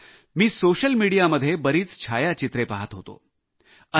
तसंच मी सोशल मीडियामध्ये बरीच छायाचित्रे पाहत होतो